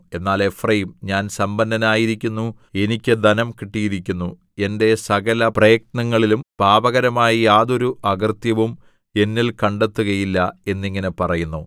എന്നാൽ എഫ്രയീം ഞാൻ സമ്പന്നനായിരിക്കുന്നു എനിക്ക് ധനം കിട്ടിയിരിക്കുന്നു എന്റെ സകല പ്രയത്നങ്ങളിലും പാപകരമായ യാതൊരു അകൃത്യവും എന്നിൽ കണ്ടെത്തുകയില്ല എന്നിങ്ങനെ പറയുന്നു